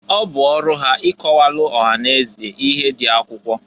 Ọ bụ ọrụ ha ịkọwalụ ọha na eze ihe dị akwụkwọ.